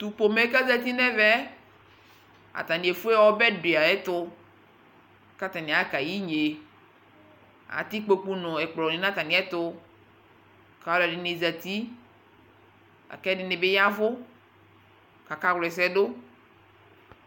tʋ pɔmɛ kʋ azati nʋ ɛvɛ, atani ɛƒʋɛ ha ɔbɛ di ayɛtʋ kʋ atani aka yɛ inyɛ, atɛ ikpɔkʋ ni nʋ ɛkplɔ nʋ atami ɛtʋ kʋ alʋɛdini zati lakʋ ɛdinibi yavʋ kʋ aka wlɛsɛ dʋ